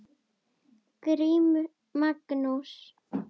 GRÍMUR: Magnús!